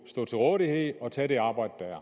stå til rådighed og tage det arbejde der er